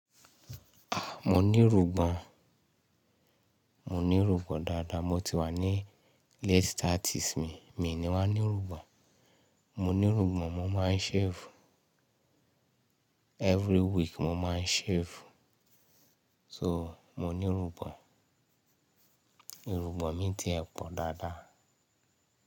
Mo ní irùngbòn, mo ní irùngbòn dáadáa. Mo ti wà ní late thirties mi, mi ni wà á ní rùgbò. Mo ní rùgbò, mo máa ń shave. Every week mo máa ń shave. So mo ní irùgbòn, irùngbòn mi ti ẹ pọ̀ dáadáa.